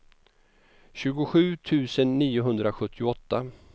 tjugosju tusen niohundrasjuttioåtta